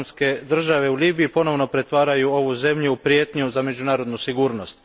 Islamske države u Libiji, ponovno pretvaraju ovu zemlju u prijetnju za međunarodnu sigurnost.